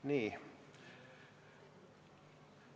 Nii.